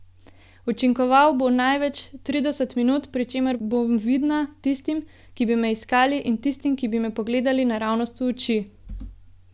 Učinkoval bo največ trideset minut, pri čemer bom vidna tistim, ki bi me iskali, in tistim, ki bi me pogledali naravnost v oči.